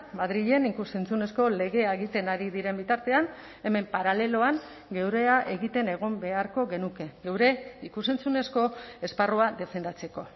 madrilen ikus entzunezko legea egiten ari diren bitartean hemen paraleloan geurea egiten egon beharko genuke geure ikus entzunezko esparrua defendatzeko